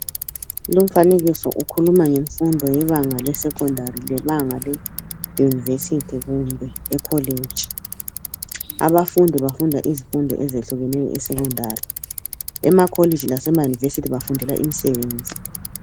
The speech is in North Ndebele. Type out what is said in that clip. Lumfanekiso ukhuluma ngemfundo lebanga lesecondary lebanga le university kumbe ecollage ,abafundi bafunda izifundo eziyehlukeneyo esecondary emacollage lasemauniversity bafundela imisebenzi.